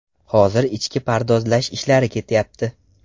Hozir ichki pardozlash ishlari ketyapti.